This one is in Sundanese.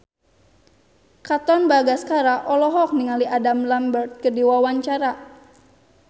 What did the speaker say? Katon Bagaskara olohok ningali Adam Lambert keur diwawancara